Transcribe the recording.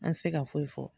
An tɛ se ka foyi fɔ